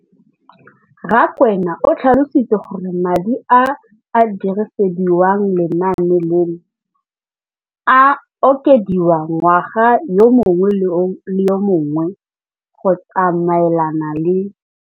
Rakwena o tlhalositse gore madi a a dirisediwang lenaane leno a okediwa ngwaga yo mongwe le yo mongwe go tsamaelana le.